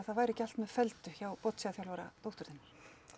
það væri ekki allt með felldu hjá dóttur þinnar